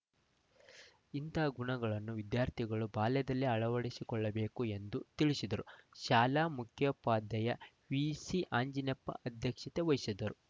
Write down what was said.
ಇಂತಹ ಗುಣಗಳನ್ನು ವಿದ್ಯಾರ್ಥಿಗಳು ಬಾಲ್ಯದಲ್ಲಿಯೇ ಅಳವಡಿಸಿಕೊಳ್ಳಬೇಕು ಎಂದು ತಿಳಿಸಿದರು ಶಾಲಾ ಮುಖ್ಯೋಪಾಧ್ಯಾಯ ವಿಸಿಅಂಜಿನಪ್ಪ ಅಧ್ಯಕ್ಷತೆ ವಹಿಸಿದ್ದರು